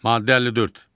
Maddə 54.